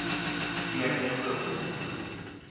Glemmingebro